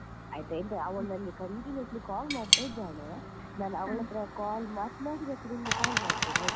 ಆಯ್ತಾ ಈಗ ಅವಳು ನನ್ಗೆ continuously call ಮಾಡ್ತಾ ಇದ್ದಾಳೆ call ಮಾತನಾಡಿ ಮತ್ತೆ ನಿನ್ಗೆ call ಮಾಡ್ತೇನೆ ಆಯ್ತಾ?